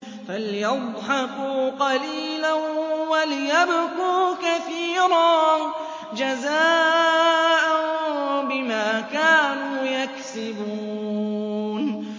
فَلْيَضْحَكُوا قَلِيلًا وَلْيَبْكُوا كَثِيرًا جَزَاءً بِمَا كَانُوا يَكْسِبُونَ